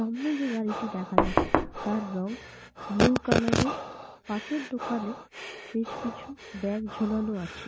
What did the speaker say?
সামনে যে গাড়িটি দেখা যাচ্ছে তার রঙ বুলু কালার এর। পাশের দোকানে বেশ কিছু ব্যাগ ঝোলানো আছে।